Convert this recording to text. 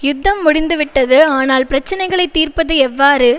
யுத்தம் முடிந்து விட்டது ஆனால் பிரச்சினைகளை தீர்ப்பது எவ்வாறு